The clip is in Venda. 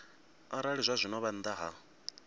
arali zwazwino vha nnḓa ha